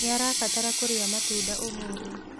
Nĩarabatara kũrĩa matunda ũmũthĩ